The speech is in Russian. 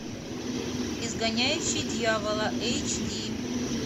изгоняющий дьявола эйч ди